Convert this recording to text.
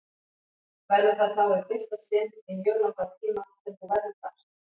Verður það þá í fyrsta sinn í mjög langan tíma sem þú verður þar?